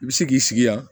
I bɛ se k'i sigi yan